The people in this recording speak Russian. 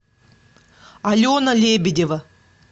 алена лебедева